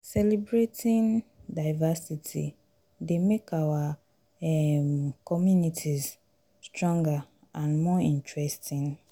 celebrating diversity dey make our um communities stronger and more interesting.